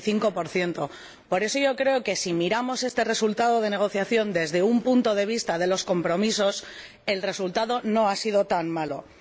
95 Por eso yo creo que, si miramos este resultado de la negociación desde un punto de vista de los compromisos, el resultado no ha sido tan malo.